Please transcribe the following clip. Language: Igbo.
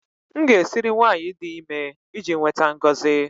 M ga-esiri nwanyị dị ime iji nweta ngọzi